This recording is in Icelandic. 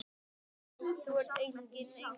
Þú ert enginn engill.